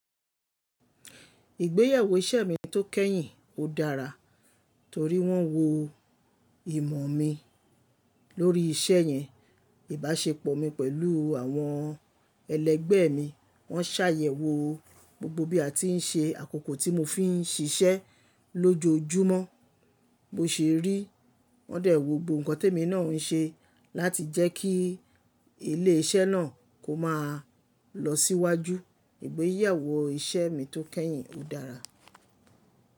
Ìgbéyàwó iṣẹ́ mi tó kẹ́yìn ó dára, torí wọ́n wo ìmọ̀ mi lórí isẹ́ yẹn, ìbáṣepọ̀ mi pẹ̀lú àwọn ẹlẹgbẹ́ mi, wọ́n ṣàyẹ̀wò gbogbo bí a ti ń ṣe àkókò tí mo fi ń ṣiṣẹ́ lójoojúmọ́, bo sè rí wọn dẹ̀ wò gbogbo nǹkan témi náà ń ṣe láti jẹ́ kí ilé iṣẹ́ náà kó máa lọ síwájú. Ìgbéyàwó iṣẹ́ mi tó kẹ́yìn ó dára.